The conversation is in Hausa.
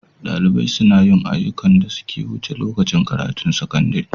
Dalibai suna yin ayyukan da suka wuce lokacin karatun sakandare.